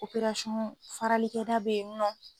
farali kɛ da be yen nɔ.